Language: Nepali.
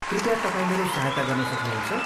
कृपया तपाईँ मेरो सहायता गर्न सक्नुहुन्छ?